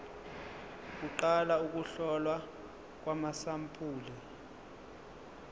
kuqala ukuhlolwa kwamasampuli